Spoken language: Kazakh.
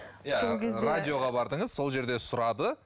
иә радиоға бардыңыз сол жерде сұрады